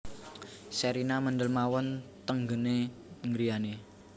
Sherina mendel mawon teng nggen e griyane